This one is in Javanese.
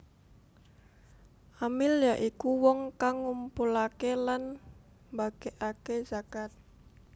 Amil ya iku wong kang ngumpulaké lan mbagèkaké zakat